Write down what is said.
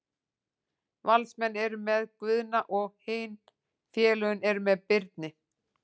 Valsmenn eru með Guðna og hin félögin eru með Birni.